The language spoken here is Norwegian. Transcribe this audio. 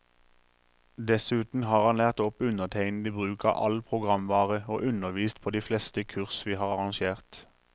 Dessuten har han lært opp undertegnede i bruk av all programvare, og undervist på de fleste kurs vi har arrangert.